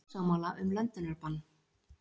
Ósammála um löndunarbann